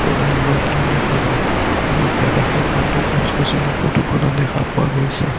দেখা গ'ল আৰু আশে-পাশে বহুতো গছ-গছনি ফটো খনত দেখা পোৱা গৈছে।